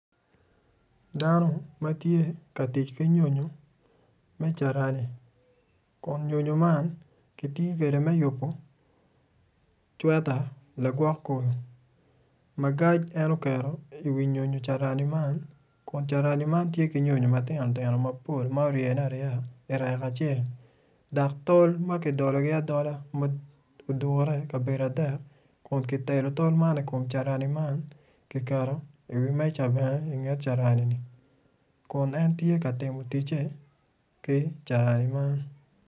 Dano ma tye ka tic ki nyonyo me carani kun nyonyo man kitiyo kwede me yubo cweta lagwok kom magac en oketo iwi nyonyo carani man kun carani man tye ki nyonyo matino tino ma ryene aryeya irek acel dok tol ma kidologi adola ma odure ikabedo adek kun kitelo tol man i kom carani man kiketo iwi meja bene inget carani kun en tye ka timo ticce ki carani.